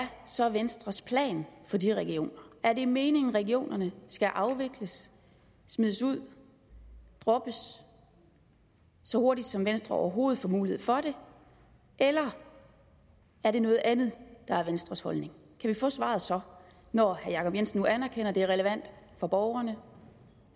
så venstres plan for de regioner er det meningen at regionerne skal afvikles smides ud droppes så hurtigt som venstre overhovedet får mulighed for det eller er det noget andet der er venstres holdning kan vi få svaret så når herre jacob jensen nu anerkender at det er relevant for borgerne